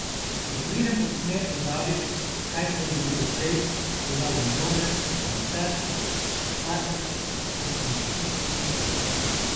Ko pridem pod smer pozabim, kaj se je zgodilo prej, pozabim na dvome, na vse, takrat si samo ti in stena.